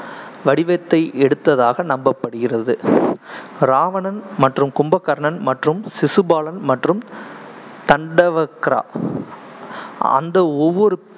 வடிவத்தை எடுத்ததாக நம்பப்படுகிறது ராவணன் மற்றும் கும்பகர்ணன் மற்றும் சிசுபாலன் மற்றும் தண்டவக்ரா அந்த ஒவ்வொரு